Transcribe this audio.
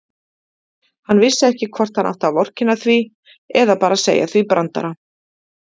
Hann vissi ekki hvort hann átti að vorkenna því eða bara segja því brandara.